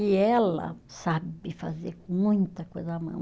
E ela sabe fazer muita coisa à mão.